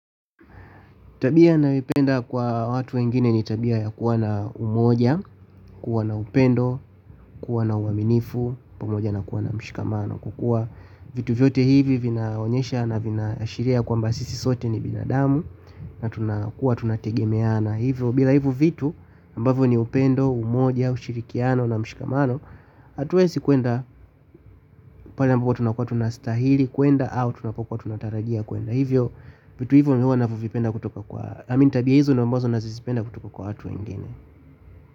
Tabia ninayoipenda kwa watu wengine ni tabia ya kuwa na umoja, kuwa na upendo, kuwa na uaminifu, pamoja na kuwa na mshikamano kwa kuwa vitu vyote hivi vinaonyesha na vinaashiria ya kwamba sisi sote ni binadamu na tunakuwa tunategemeana hivyo bila hivo vitu ambavyo ni upendo, umoja, ushirikiano na mshikamano. Hatua isikuenda pale ambao tunakuwa tunastahili, kuenda au tunapokuwa tunatarajia kuenda. Hivyo, vitu hivyo mi huwa navipenda kutoka kwa, i mean tabia hizo ndio ambazo nazipenda kutoka kwa watu wengine.